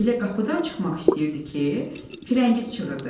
Elə qapıdan çıxmaq istəyirdi ki, Firəngiz çığırdı.